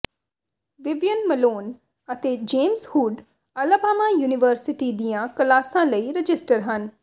Vivian Malone ਅਤੇ James Hood Alabama University ਦੀਆਂ ਕਲਾਸਾਂ ਲਈ ਰਜਿਸਟਰ ਹਨ